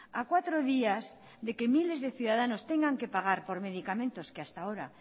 a cuatro días de que miles de ciudadanos tengan que pagar por medicamentos que hasta ahora